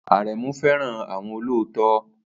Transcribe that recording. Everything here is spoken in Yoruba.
Aremu fẹ́ràn àwọn olóòótọ́